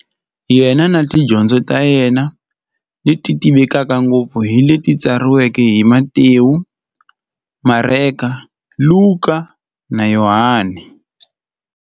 Yena na tidyondzo ta yena, leti tivekaka ngopfu hi leti tsariweke hi-Matewu, Mareka, Luka, na Yohani.